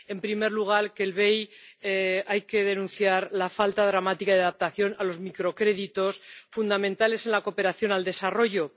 En primer lugar, en relación con el BEI, hay que denunciar la falta dramática de adaptación a los microcréditos, fundamentales en la cooperación al desarrollo.